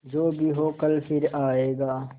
जो भी हो कल फिर आएगा